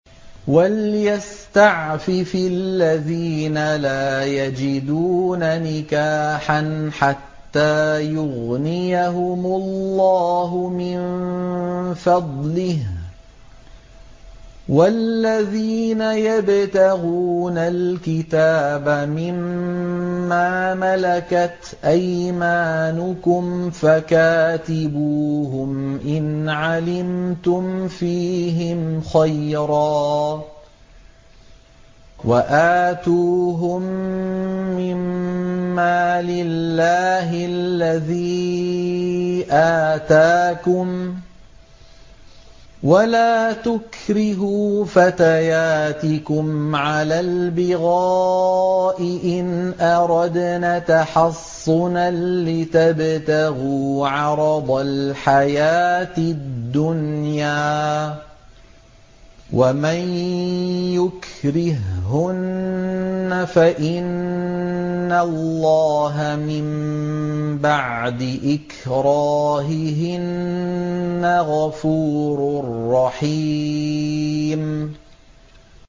وَلْيَسْتَعْفِفِ الَّذِينَ لَا يَجِدُونَ نِكَاحًا حَتَّىٰ يُغْنِيَهُمُ اللَّهُ مِن فَضْلِهِ ۗ وَالَّذِينَ يَبْتَغُونَ الْكِتَابَ مِمَّا مَلَكَتْ أَيْمَانُكُمْ فَكَاتِبُوهُمْ إِنْ عَلِمْتُمْ فِيهِمْ خَيْرًا ۖ وَآتُوهُم مِّن مَّالِ اللَّهِ الَّذِي آتَاكُمْ ۚ وَلَا تُكْرِهُوا فَتَيَاتِكُمْ عَلَى الْبِغَاءِ إِنْ أَرَدْنَ تَحَصُّنًا لِّتَبْتَغُوا عَرَضَ الْحَيَاةِ الدُّنْيَا ۚ وَمَن يُكْرِههُّنَّ فَإِنَّ اللَّهَ مِن بَعْدِ إِكْرَاهِهِنَّ غَفُورٌ رَّحِيمٌ